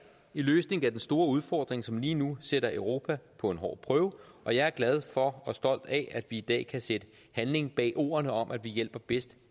i løsningen af den store udfordring som lige nu sætter europa på en hård prøve og jeg er glad for og stolt af at vi i dag kan sætte handling bag ordene om at vi hjælper bedst